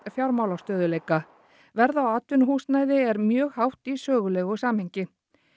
fjármálastöðugleika verð á atvinnuhúsnæði er mjög hátt í sögulegu samhengi